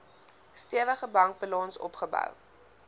stewige bankbalans opgebou